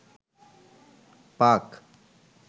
পাক